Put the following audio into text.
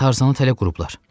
Tarzanı tələ qurublar.